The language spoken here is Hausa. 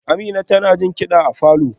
Amina tana jin kida a falor